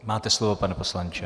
Máte slovo, pane poslanče.